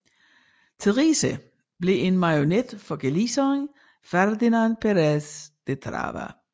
Theresa blev en marionet for galicieren Ferdinand Perez de Trava